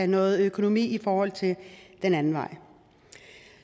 noget økonomi den anden vej